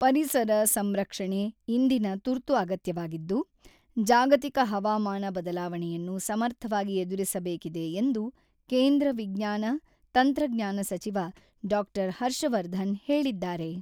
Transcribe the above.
ಪರಿಸರ ಸಂರಕ್ಷಣೆ ಇಂದಿನ ತುರ್ತು ಅಗತ್ಯವಾಗಿದ್ದು, ಜಾಗತಿಕ ಹವಾಮಾನ ಬದಲಾವಣೆಯನ್ನು ಸಮರ್ಥವಾಗಿ ಎದುರಿಸಬೇಕಿದೆ ಎಂದು ಕೇಂದ್ರ ವಿಜ್ಞಾನ, ತಂತ್ರಜ್ಞಾನಸಚಿವ ಡಾಕ್ಟರ್ ಹರ್ಷವರ್ಧನ್ ಹೇಳಿದ್ದಾರೆ.